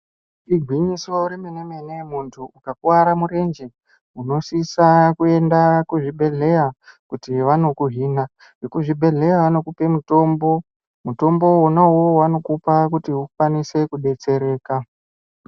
Igwinyiso remenemene munthu ukakuwara murenje unosvitsa kuenda kuzvibhedhleya kuti vanokuhin'a vekubhedhleya vanokupe mutombo , mutombo wona uwowo vanokupa kuti ukwanise kudetsereka.